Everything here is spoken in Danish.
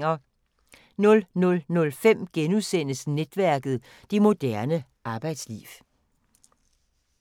00:05: Netværket: Det moderne arbejdsliv *